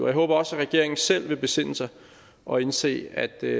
jeg håber også at regeringen selv vil besinde sig og indse at det